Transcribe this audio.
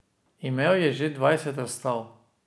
Imel je že dvajset razstav.